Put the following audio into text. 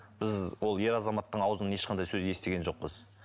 біз ол ер азаматтың аузынан ешқандай сөз естіген жоқпыз